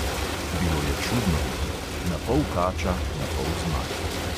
Bilo je čudno bitje: na pol kača, na pol zmaj.